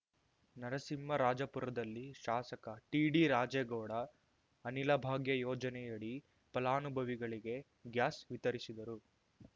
ನರಸಿಂಹರಾಜಪುರದಲ್ಲಿ ಶಾಸಕ ಟಿಡಿರಾಜೇಗೌಡ ಅನಿಲಭಾಗ್ಯ ಯೋಜನೆಯಡಿ ಫಲಾನುಭವಿಗಳಿಗೆ ಗ್ಯಾಸ್‌ ವಿತರಿಸಿದರು